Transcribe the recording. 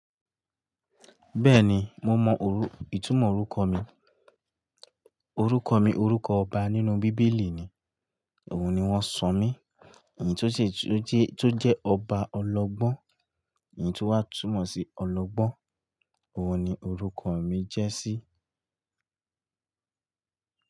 Bẹ́ẹ̀ni, mo mọ òru, ìtumọ̀ orúkọ mi. Orúkọ mi orúkọ ọba nínú bíbélì ni. Òun ni wọ́n sọ mí. Èyí tó ṣe tó jẹ́, tó jẹ́ ọba ọlọ́gbọ́n, èyí tó wà túmọ̀ sí ọlọ́gbọ́n. Òun ni orúkọ mi jẹ́ sí.